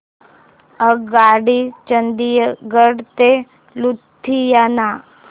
आगगाडी चंदिगड ते लुधियाना